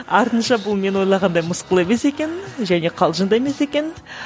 артынша бұл мен ойлағандай мысқыл емес екен және қалжың да емес екен